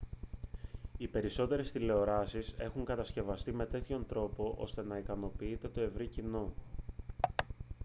οι περισσότερες τηλεοράσεις έχουν κατασκευαστεί με τέτοιον τρόπο ώστε να ικανοποιείται το ευρύ κοινό